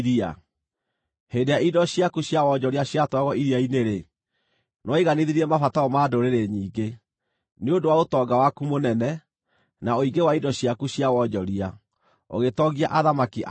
Hĩndĩ ĩrĩa indo ciaku cia wonjoria ciatwaragwo iria-inĩ-rĩ, nĩwaiganithirie mabataro ma ndũrĩrĩ nyingĩ; nĩ ũndũ wa ũtonga waku mũnene, na ũingĩ wa indo ciaku cia wonjoria, ũgĩtongia athamaki a thĩ.